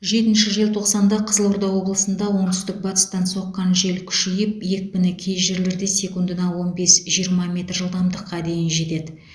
жетінші желтоқсанда қызылорда облысында оңтүстік батыстан соққан жел күшейіп екпіні кей жерлерде секундына он бес жиырма метр жылдамдыққа дейін жетеді